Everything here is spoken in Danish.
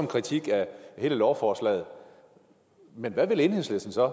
kritik af hele lovforslaget men hvad vil enhedslisten så